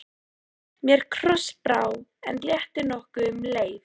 Mér krossbrá, en létti nokkuð um leið.